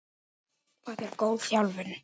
Hvað er góð þjálfun?